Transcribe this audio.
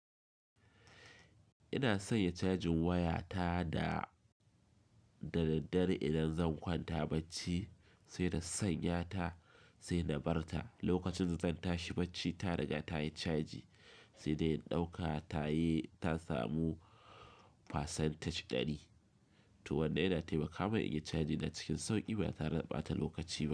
Ina sanya cajin waya ta da, da daddare idan zan kwanta bacci sai da sanya ta sai na bar ta. Lokacin da zan tashi bacci ta riga ta yi caji, sai da in ɗauka ta yi ta samu percentage ɗani. To wanda yana taimakawa in yi caji ina cikin sauƙi ba ta re da ɓata lokaci ba.